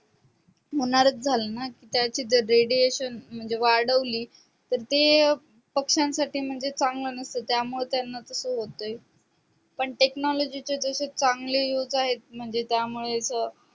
होणारच झाले ना त्याचे त radiation म्हणजे वाढवली तर ते अं पक्ष्यांसाठी म्हणजे चांगले नसत त्या मुळे त्यांना तास होतय पण technology जसे चांगले used आहे म्हणजे आहेत त्यामुळेच